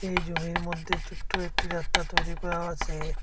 এই জমির মধ্যে ছোট্ট একটি রাত্তা তৈরি করাও আছে।